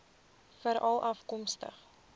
veralafkomstig